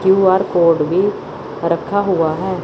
Q R code भी रखा हुआ हैं।